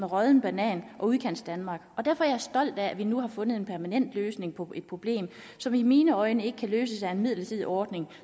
rådne banan og udkantsdanmark og derfor er jeg stolt af at vi nu har fundet en permanent løsning på et problem som i mine øjne ikke kan løses af en midlertidig ordning